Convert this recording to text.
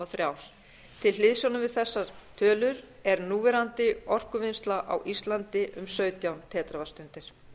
þrjú til hliðsjónar við þessa tölu er núverandi orkuvinnsla á íslandi um sautján teravattstundir